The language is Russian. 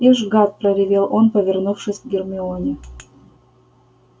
ишь гад проревел он повернувшись к гермионе